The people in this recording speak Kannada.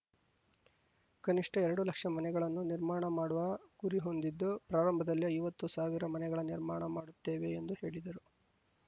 ಕನಿಷ್ಟ ಎರಡು ಲಕ್ಷ ಮನೆಗಳನ್ನು ನಿರ್ಮಾಣ ಮಾಡುವ ಗುರಿಹೊಂದಿದ್ದು ಪ್ರಾರಂಭದಲ್ಲಿ ಐವತ್ತು ಸಾವಿರ ಮನೆಗಳ ನಿರ್ಮಾಣ ಮಾಡುತ್ತೇವೆ ಎಂದು ಹೇಳಿದರು